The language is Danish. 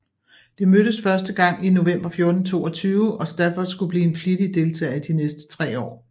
Det mødtes første gang i november 1422 og Stafford skulle blive en flittig deltager i de næste tre år